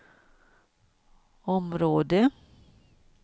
område